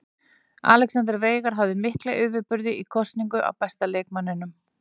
Alexander Veigar hafði mikla yfirburði í kosningu á besta leikmanninum.